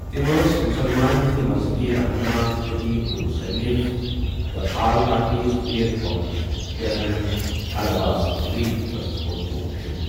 تم ٲسی مسلمانن ہندی مذہبی رہنما، خطیب تہٕ مصنف تہٕ آل پارٹیز حریت کانفرنسک چیئرمین العباسؑ ریلیف ٹرسٹ کوٚر تمو شۆروٗع۔